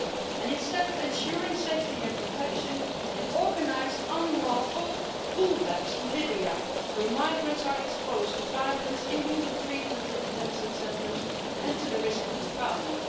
And instead of ensuring safety and protection they organise unlawful pull backs to Libya, where migrants are exposed to violence, inhuman treatment in detention centres and to the risk of refoulement.